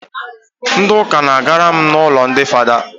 Ndi uka na-gara m ụlọ ndị fada